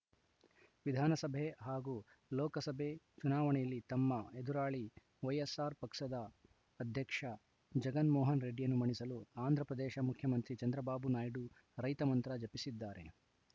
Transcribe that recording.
ವಿಧಾನಸಭೆ ಹಾಗೂ ಲೋಕಸಭೆ ಚುನಾವಣೆಯಲ್ಲಿ ತಮ್ಮ ಎದುರಾಳಿ ವೈಎಸ್‌ಆರ್‌ ಪಕ್ಷದ ಅಧ್ಯಕ್ಷ ಜಗನ್‌ ಮೋಹನ್‌ ರೆಡ್ಡಿಯನ್ನು ಮಣಿಸಲು ಆಂಧ್ರ ಪ್ರದೇಶ ಮುಖ್ಯಮಂತ್ರಿ ಚಂದ್ರಬಾಬು ನಾಯ್ಡು ರೈತ ಮಂತ್ರ ಜಪಿಸಿದ್ದಾರೆ